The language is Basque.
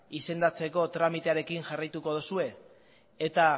izendatzeko tramitearekin jarraituko dozue eta